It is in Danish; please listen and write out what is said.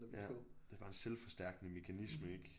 Ja det er bare en selvforstærkende mekanisme ik